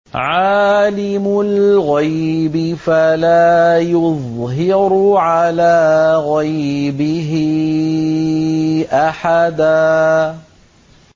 عَالِمُ الْغَيْبِ فَلَا يُظْهِرُ عَلَىٰ غَيْبِهِ أَحَدًا